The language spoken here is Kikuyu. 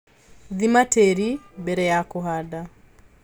Thima tĩri mbere ya kũhanda.